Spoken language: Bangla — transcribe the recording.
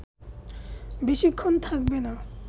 বেশিক্ষণ থাকবে না